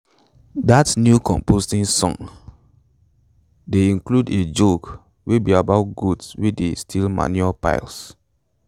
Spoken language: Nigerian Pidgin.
dat new composting song dey include a joke wey be about goats wey dey steal manure piles